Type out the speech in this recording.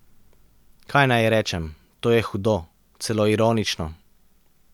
Kaj naj rečem, to je hudo, celo ironično.